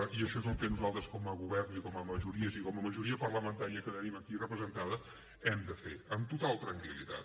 i això és el que nosaltres com a govern i com a majories i com a majoria parlamentària que tenim aquí representada hem de fer amb total tranquil·litat